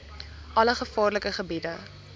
alle gevaarlike gebiede